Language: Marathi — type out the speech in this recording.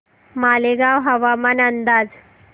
मालेगाव हवामान अंदाज